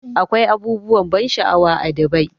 Akwai abubuwan ban sha'awa a Dubai.